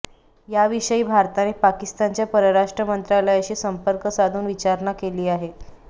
याविषयी भारताने पाकिस्तानच्या परराष्ट्र मंत्रालयाशी संपर्क साधून विचारणा केली आहे